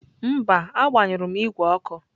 Mba, agbanyụrụ m igwe ọkụ.